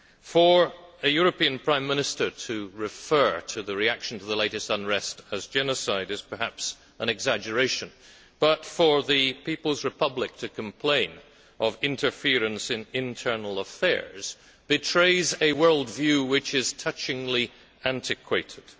For a European Prime Minister to refer to the reaction to the latest unrest as genocide' is perhaps an exaggeration, but for the People's Republic to complain of interference in internal affairs betrays a world view which is touchingly antiquated.